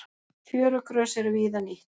Fjörugrös eru víða nýtt.